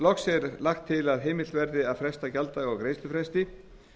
loks er lagt til að heimilt verði að fresta gjalddaga á greiðslufresti